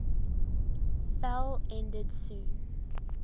fell ended soon